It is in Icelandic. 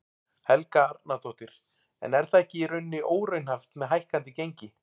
Helga Arnardóttir: En er það ekki í rauninni óraunhæft með hækkandi gengi?